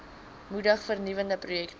moedig vernuwende projekte